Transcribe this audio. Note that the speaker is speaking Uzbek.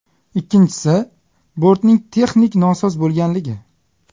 Ikkinchisi, bortning texnik nosoz bo‘lganligi.